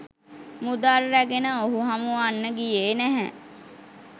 මුදල් රැගෙන ඔහු හමුවන්න ගියේ නැහැ